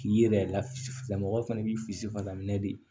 K'i yɛrɛ lafisila mɔgɔw fana k'i filifa la minɛn de